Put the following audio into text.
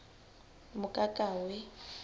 mokakawe